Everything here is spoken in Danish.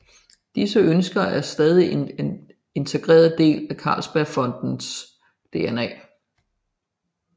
Disse ønsker er stadig en integreret del af Carlsbergfondets DNA